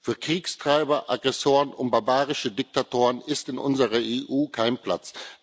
Für Kriegstreiber, Aggressoren und barbarische Diktatoren ist in unserer EU kein Platz.